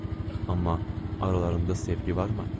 Amma aralarında sevgi varmı?